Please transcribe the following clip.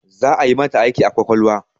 Za'a yi mata aiki a ƙwaƙwalwa